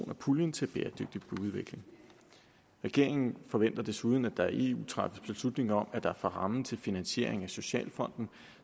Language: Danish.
af puljen til bæredygtig byudvikling regeringen forventer desuden at der i eu træffes beslutning om at der fra ramme til finansiering af socialfonden